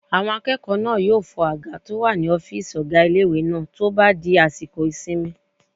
Àwọn akẹ́kọ̀ọ́ náà yóò fọ àga tó wà ní ọ́fìsì ọgá ilé-ìwé náà tó bá di àsìkò ìsinmi